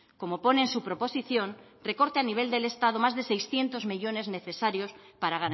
como pone en su proposición recorta el nivel del estado más de seiscientos millónes necesarios para